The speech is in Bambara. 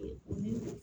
Ni